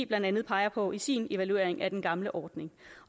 blandt andet peger på i sin evaluering af den gamle ordning